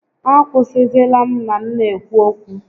A kwụsịzịla m ma m n'ekwu okwu!